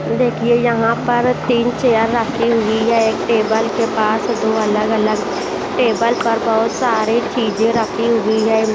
देखिए यहाँ पर तीन चेयर रखी हुई है एक टेबल के पास दो अलग-अलग टेबल पर बहुत सारी चीजें रखी हुई है।